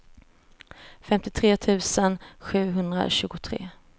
femtiotre tusen sjuhundratjugotre